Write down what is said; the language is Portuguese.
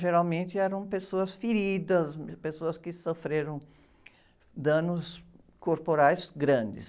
Geralmente eram pessoas feridas, pessoas que sofreram danos corporais grandes.